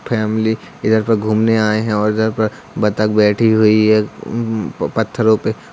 family इधर पे घूमने आए है और इधर पर बतख बैठी हुई है म-पत्थरो पे--